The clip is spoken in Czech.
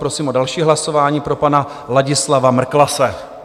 Prosím o další hlasování pro pana Ladislava Mrklase.